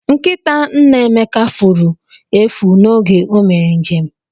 Nkịta nna Emeka furu efu oge o mere njem